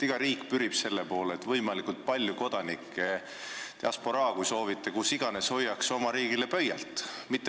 Iga riik pürib selle poole, et tal oleks võimalikult palju kodanikke, et diasporaa kus iganes hoiaks oma riigile pöialt.